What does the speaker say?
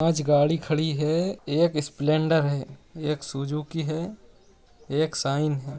आज गाड़ी खड़ी है एक स्प्लेंडर है एक सुजुकी है एक साइन है।